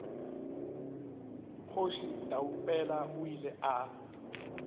kgoši taupela o ile a